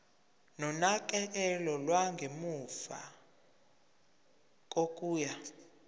nonakekelo lwangemuva kokuya